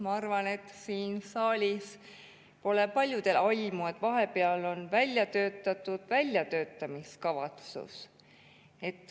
Ma arvan, et siin saalis pole paljudel aimu, et vahepeal on välja töötatud väljatöötamiskavatsus.